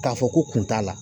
K'a fɔ ko kun t'a la.